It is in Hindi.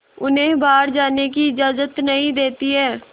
उन्हें बाहर जाने की इजाज़त नहीं देती है